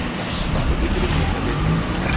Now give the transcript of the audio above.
hothwe ke lenqosa le o